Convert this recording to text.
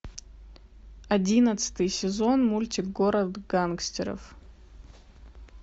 одиннадцатый сезон мультик город гангстеров